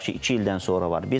Tutaq ki, iki ildən sonra var.